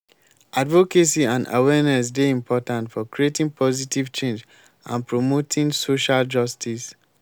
advocacy and awareness dey important for creating positive change and promoting social justice.